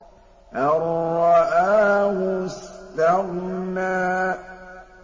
أَن رَّآهُ اسْتَغْنَىٰ